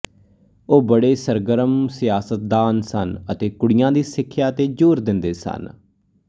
ਉਹ ਬੜੇ ਸਰਗਰਮ ਸਿਆਸਤਦਾਨ ਸਨ ਅਤੇ ਕੁੜੀਆਂ ਦੀ ਸਿੱਖਿਆ ਤੇ ਜ਼ੋਰ ਦਿੰਦੇ ਸਨ